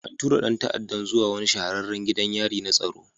An tura ɗan ta'addan zuwa wani shahararren gidan yari na tsaro